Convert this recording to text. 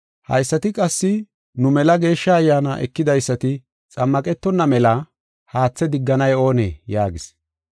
“Haysati qassi nu mela Geeshsha Ayyaana ekidaysati xammaqetonna mela haathe digganay oonee?” yaagis.